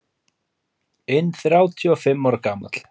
inn þrjátíu og fimm ára gamall.